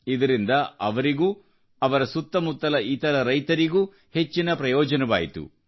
ಇದರಿಂದ ಅವರಿಗೂ ಅವರ ಸುತ್ತಮುತ್ತಲ ಇತರ ರೈತರಿಗೂ ಹೆಚ್ಚಿನ ಪ್ರಯೋಜನವಾಯಿತು